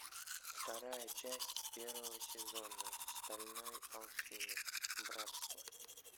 вторая часть первого сезона стальной алхимик братство